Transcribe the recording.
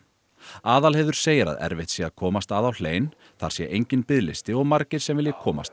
Aðalheiður segir að erfitt sé að komast að á hlein þar sé enginn biðlisti og margir sem vilji komast